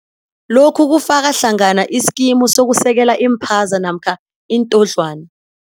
Lokhu kufaka hlangana iskimu sokusekela iimphaza namkha iintodlwana.